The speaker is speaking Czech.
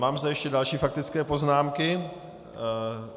Mám zde ještě další faktické poznámky.